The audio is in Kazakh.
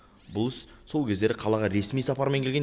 бұл іс сол кездері қалаға ресми сапармен келген